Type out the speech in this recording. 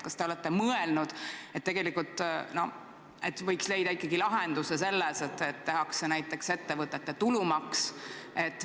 Kas te olete mõelnud, et tegelikult võiks ikkagi olla lahendus selles, et tehakse näiteks ettevõtete tulumaks?